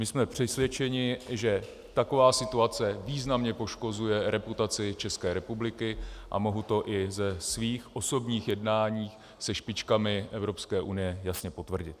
My jsme přesvědčeni, že taková situace významně poškozuje reputaci České republiky, a mohu to i ze svých osobních jednání se špičkami Evropské unie jasně potvrdit.